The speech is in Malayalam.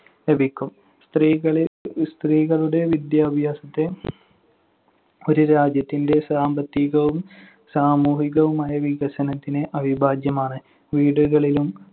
ലഭിക്കും. സ്ത്രീകളെ~ സ്ത്രീകളുടെ വിദ്യാഭ്യാസത്തെ ഒരു രാജ്യത്തിന്‍റെ സാമ്പത്തികവും സാമൂഹികവുമായ വികസനത്തിന് അവിഭാജ്യമാണ്. വീടുകളിലും